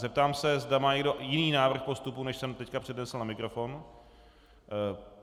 Zeptám se, zda má někdo jiný návrh postupu, než jsem teď přednesl na mikrofon.